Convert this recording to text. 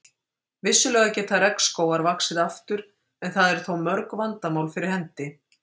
Vissulega geta regnskógar vaxið aftur en það eru þó mörg vandamál fyrir hendi.